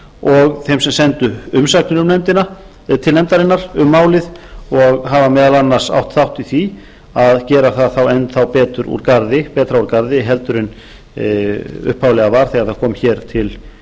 og þeim sem sendu umsagnir til nefndarinnar kom málið og hafa meðal annars átt þátt í því að gera það þá enn þá betur betra úr garði en upphaflega var þegar það